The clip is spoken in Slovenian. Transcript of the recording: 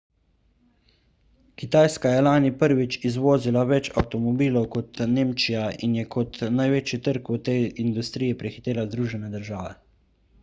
kitajska je lani prvič izvozila več avtomobilov kot nemčija in je kot največji trg v tej industriji prehitela združene države